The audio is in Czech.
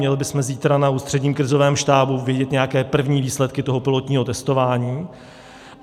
Měli bychom zítra na Ústředním krizovém štábu vidět nějaké první výsledky toho pilotního testování.